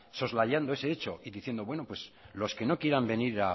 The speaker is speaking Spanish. soslayando ese hecho y diciendo bueno pues los que no quieran venir